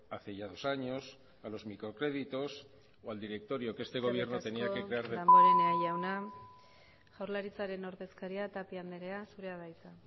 hace dos años a los microcréditos o al directorio que este gobierno tenía que crear eskerrik asko damborenea jauna jaurlaritzaren ordezkariak tapia anderea zurea da hitza